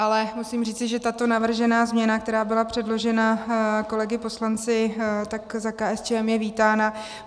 Ale musím říci, že tato navržená změna, která byla předložena kolegy poslanci, tak za KSČM je vítána.